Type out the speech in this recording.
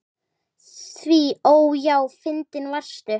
Því ó, já, fyndin varstu.